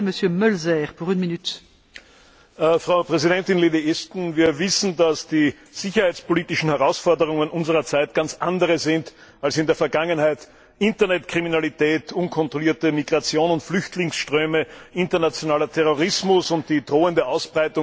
Frau Präsidentin, liebe Frau Ashton! Wir wissen, dass die sicherheitspolitischen Herausforderungen unserer Zeit ganz andere sind als in der Vergangenheit Internetkriminalität, unkontrollierte Migration und Flüchtlingsströme, internationaler Terrorismus und die drohende Ausbreitung von Massenvernichtungswaffen gehören dazu.